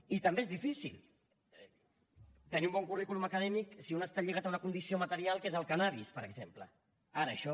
i també és difícil tenir un bon currículum acadèmic si un està lligat a una condició material que és el cànnabis per exemple ara això